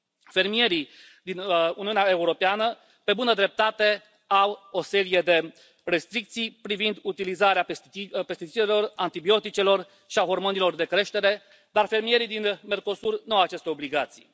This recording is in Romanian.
Fermierii din Uniunea Europeană, pe bună dreptate, au o serie de restricții privind utilizarea pesticidelor, a antibioticelor și a hormonilor de creștere, dar fermierii din Mercosur nu au aceste obligații.